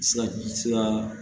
Sira